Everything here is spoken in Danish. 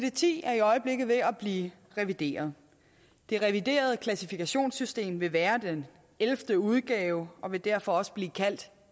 ti er i øjeblikket ved at blive revideret det reviderede klassifikationssystem vil være den ellevte udgave og vil derfor også blive kaldt